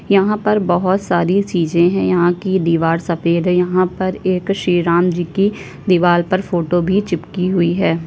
यहां पर बोहोत सारी चीजे है। यहां की दीवार सफेद है। यहां पर एक श्री राम जी की दीवार पर फोटो भी चिपकी हुई है।